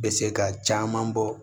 Bɛ se ka caman bɔ